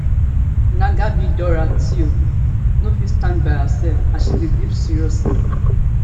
ngabi dora tue no fit stand by herself as she dey grief seriously